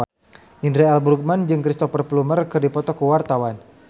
Indra L. Bruggman jeung Cristhoper Plumer keur dipoto ku wartawan